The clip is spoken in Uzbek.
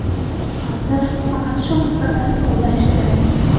Hozir faqat shu haqida o‘ylash kerak.